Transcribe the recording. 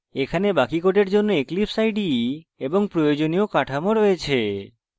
এখানে বাকি code জন্য eclipse ide এবং প্রয়োজনীয় কাঠামো রয়েছে